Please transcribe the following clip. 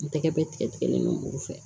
N tɛgɛ bɛ tigɛlen no fɛ